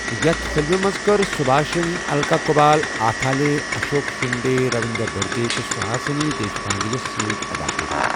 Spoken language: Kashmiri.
یتھ فِلمہِ منٛز کٔر سُبھاشن الکا کُبال آتھالیے، اشوک شِنٛدے، رٔوِنٛدر بٔردے تہٕ سُہاسِنی دیشپانٛڈے سۭتۍ اداکٲری۔